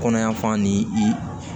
Kɔnɔyan fan ni i